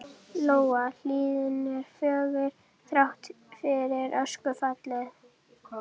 Lóa: Hlíðin er fögur, þrátt fyrir öskufallið?